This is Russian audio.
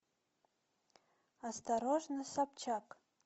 осторожно собчак